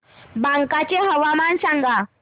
बांका चे हवामान सांगा